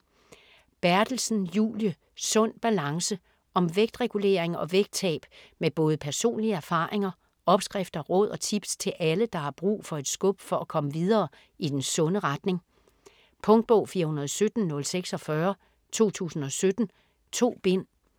Berthelsen, Julie: Sund balance Om vægtregulering og vægttab med både personlige erfaringer, opskrifter, råd og tips til alle, der har brug for et skub for at komme videre i den sunde retning. Punktbog 417046 2017. 2 bind.